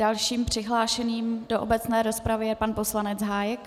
Dalším přihlášeným do obecné rozpravy je pan poslanec Hájek.